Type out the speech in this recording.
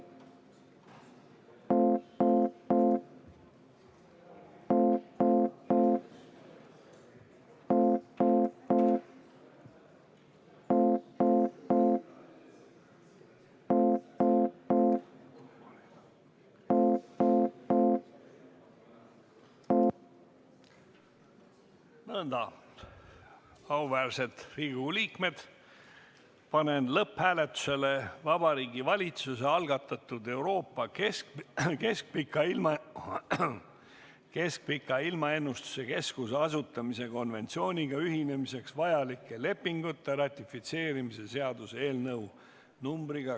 Nõnda, auväärsed Riigikogu liikmed, panen lõpphääletusele Vabariigi Valitsuse algatatud Euroopa Keskpika Ilmaennustuse Keskuse asutamise konventsiooniga ühinemiseks vajalike lepingute ratifitseerimise seaduse eelnõu .